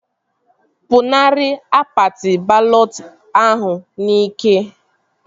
Pụnara akpati balọt ahụ n'ike!